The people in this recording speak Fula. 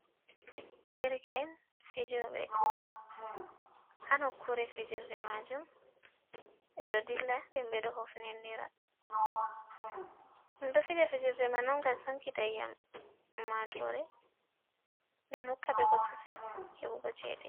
Derke’en fijobe bol hanokure fijerde majum ɓeɗo dilla den ɓeɗo hofnenira, ɗum ɗo fija fijerde man on gam sankita iyam ummatore matore den hokkaɓe bosesel heɓugo chede.